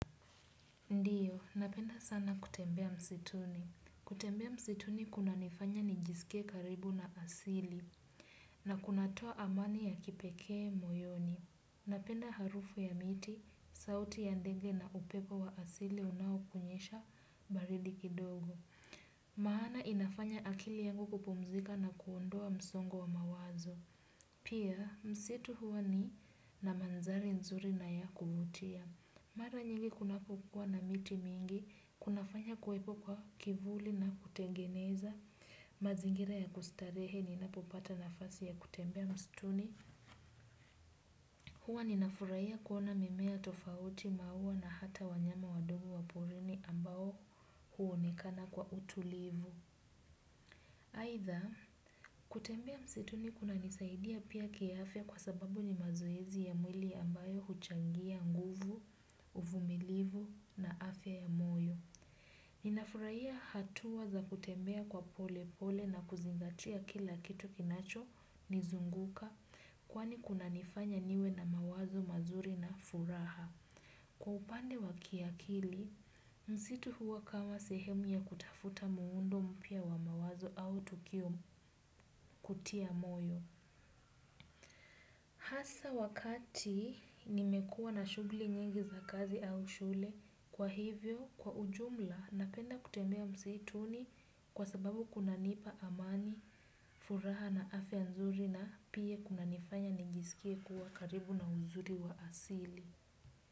Ndiyo, napenda sana kutembea msituni. Kutembea msituni kuna nifanya nijisikie karibu na asili. Na kunatoa amani ya kipekee moyoni. Napenda harufu ya miti, sauti ya ndege na upepo wa asili unaokunyesha baridi kidogo. Mahana inafanya akili yangu kupumzika na kuondoa msongo wa mawazo. Pia, msitu huwa ni na mandhari nzuri na ya kuvutia. Mara nyingi kunapokuwa na miti mingi, kunafanya kuwepo kwa kivuli na kutengeneza, mazingira ya kustarehe ni napopata nafasi ya kutembea mstuni. Huwa ninafurahia kuona mimea tofauti maua na hata wanyama wadogo wa porini ambao huonekana kwa utulivu. Aidha, kutembea msituni kunanisaidia pia kiafya kwa sababu ni mazoezi ya mwili ambayo huchangia nguvu, uvumilivu na afya ya moyo. Ninafurahia hatua za kutembea kwa pole pole na kuzingatia kila kitu kinacho nizunguka kwani kunanifanya niwe na mawazo mazuri na furaha. Kwa upande wa kiakili, msitu huwa kama sehemu ya kutafuta muundo mpya wa mawazo au tukio kutia moyo. Hasa wakati nimekuwa na shughuli nyingi za kazi au shule kwa hivyo kwa ujumla napenda kutembea msituni kwa sababu kuna nipa amani, furaha na afya nzuri na pia kuna nifanya nijisikie kuwa karibu na uzuri wa asili.